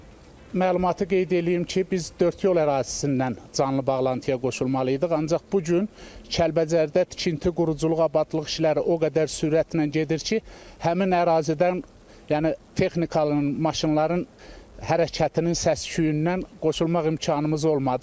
Bir məlumatı qeyd eləyim ki, biz dördyol ərazisindən canlı bağlantıya qoşulmalıydıq, ancaq bu gün Kəlbəcərdə tikinti, quruculuq, abadlıq işləri o qədər sürətlə gedir ki, həmin ərazidən, yəni texnikanın, maşınların hərəkətinin səs-küyündən qoşulmaq imkanımız olmadı.